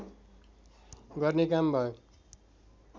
गर्ने काम भयो